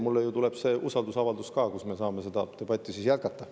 Mulle ju tuleb see usaldusavaldus ka, siis me saame seda debatti jätkata.